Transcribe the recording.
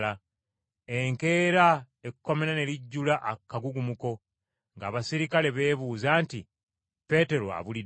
Enkeera ekkomera ne lijjula akagugumuko ng’abaserikale beebuuza nti, “Peetero abulidde wa?”